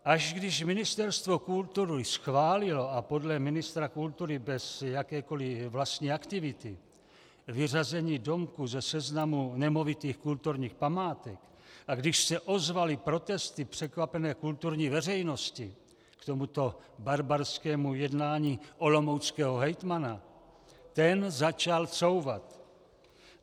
Až když Ministerstvo kultury schválilo - a podle ministra kultury bez jakékoliv vlastní aktivity - vyřazení domku ze seznamu nemovitých kulturních památek a když se ozvaly protesty překvapené kulturní veřejnosti k tomuto barbarskému jednání olomouckého hejtmana, ten začal couvat.